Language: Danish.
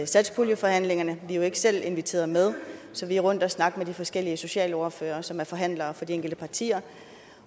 satspuljeforhandlingerne vi er jo ikke selv inviteret med så vi er rundt at snakke med de forskellige socialordførere som er forhandlere for de enkelte partier